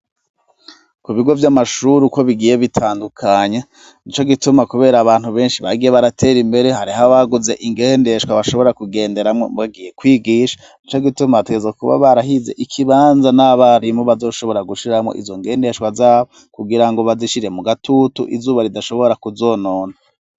Ku bigo vy'amashuri uko bigiye bitandukanye nico gituma kubera abantu benshi bagiye baratera imbere hariho abaguze ingendeshwa bashobora kugenderamwo bagiye kwigisha nico gituma bategerezwa kuba barahize ikibanza n'abarimu bazoshobora gushiramwo izo ngendeshwa zabo kugira ngo bazishire mu gatutu izuba ridashobora kuzonona.